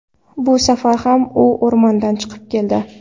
Bu safar ham u o‘rmondan chiqib keldi.